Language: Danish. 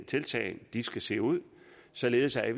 tiltag skal se ud således at